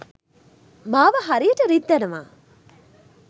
මාව හරියට රිද්දනවා